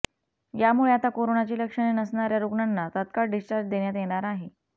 यामुळे आता कोरोनाची लक्षणे नसणाऱ्या रुग्णांना तत्काळ डिस्चार्ज देण्यात येणार आहे